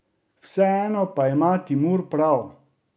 Vseeno pa ima Timur prav.